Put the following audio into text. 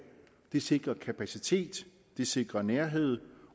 det sikrer kapacitet det sikrer nærhed